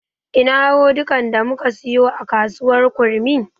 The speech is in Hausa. Ina rodikan da muka siyo a kasuwar kurmi?